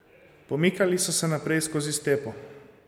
Pomikali so se naprej skozi stepo.